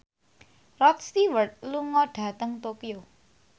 Rod Stewart lunga dhateng Tokyo